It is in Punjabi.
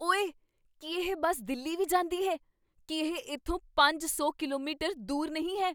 ਓਏ! ਕੀ ਇਹ ਬੱਸ ਦਿੱਲੀ ਵੀ ਜਾਂਦੀ ਹੈ? ਕੀ ਇਹ ਇੱਥੋਂ ਪੰਜ ਸੌ ਕਿਲੋਮੀਟਰ ਦੂਰ ਨਹੀਂ ਹੈ?